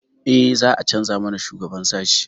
Eh, za a canza mana shugaban sashi.